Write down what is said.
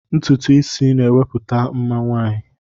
Ntutu isi na-ewepụta mma nwaanyị.